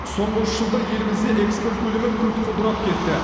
соңғы үш жылда елімізде экспорт көлемі күрт құлдырап кетті